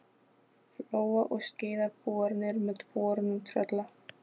Flóa og Skeiða boranir með bornum Trölla.